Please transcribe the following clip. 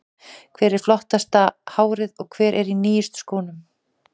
Hver er með flottasta hárið og hver er í nýjustu skónum?